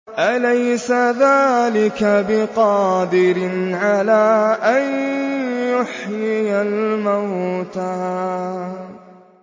أَلَيْسَ ذَٰلِكَ بِقَادِرٍ عَلَىٰ أَن يُحْيِيَ الْمَوْتَىٰ